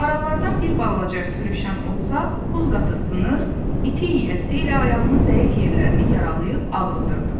Marallardan bir balaca sürüşən olsa, buz qatı sınar, iti yəsi ilə ayağının zəif yerlərini yaralayıb ağrıdırdı.